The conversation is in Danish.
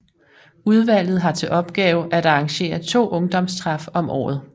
Udvalget har til opgave at arrangere 2 ungdomstræf om året